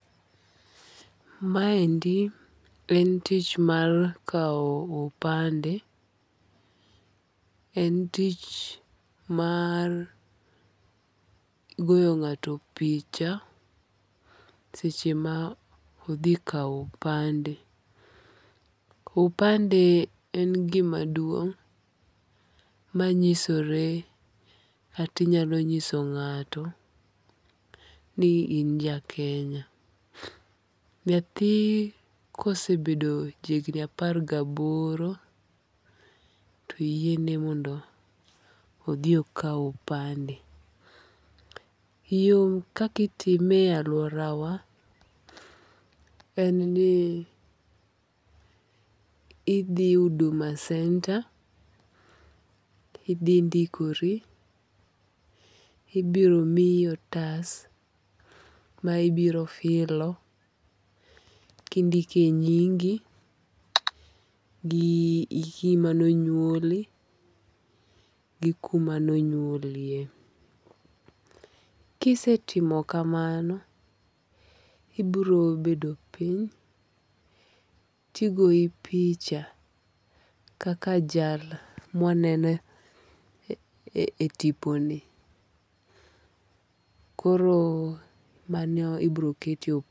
Ma endi en tich mar kaw opande. En tich mar goyo ng'ato picha seche ma odhi kaw opande. Opande en gima duong' manyisore katinyalo nyiso ng'ato ni in ja Kenya. Nyathi kosebedo ja higni apar gi aboro, to oyiene mondo odhi okaw opande. Yo kakitime e aluora wa en ni idhi Huduma Center, idhindikori. Ibiro miyi otas ma ibiro filo kindike nyingi gi hiki manonyuoli, gi kuma nonyuolie. Kisetimo kamano ibiro bedo piny tigoyi picha kaka jal ma wanene e tipo ni. Koro mano ibiro ket